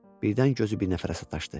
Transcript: Birdən gözü bir nəfərə sataşdı.